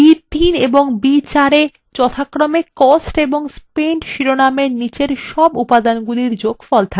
cells b3 এবং b4 এ যথাক্রমে cost and spent শিরোনামগুলির নিচের সব উপাদানের যোগফল থাকবে